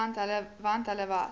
want hulle was